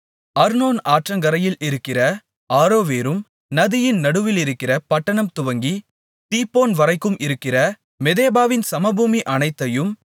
அர்னோன் ஆற்றங்கரையில் இருக்கிற ஆரோவேரும் நதியின் நடுவிலிருக்கிற பட்டணம் துவங்கி தீபோன்வரைக்கும் இருக்கிற மெதெபாவின் சமபூமி அனைத்தையும்